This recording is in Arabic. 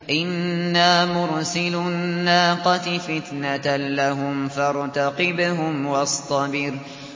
إِنَّا مُرْسِلُو النَّاقَةِ فِتْنَةً لَّهُمْ فَارْتَقِبْهُمْ وَاصْطَبِرْ